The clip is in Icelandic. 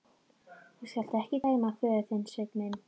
Þú skalt ekki dæma hann föður þinn, Sveinn minn.